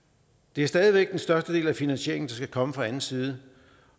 det er stadig væk den største del af finansieringen der skal komme fra anden side